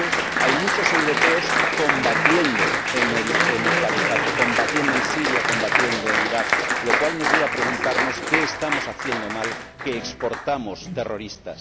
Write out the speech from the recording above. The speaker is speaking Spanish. Y, de hecho, hay muchos europeos combatiendo en el Califato —combatiendo en Siria, combatiendo en Irak—, lo cual nos lleva a preguntarnos qué estamos haciendo mal para estar exportando terroristas